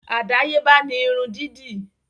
Àdáyébá ni irun dídì